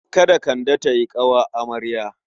Kada Kande ta yi ƙawar amarya.